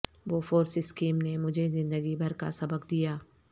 Bofors scheme نے مجھے زندگی بھر کا سبق دیا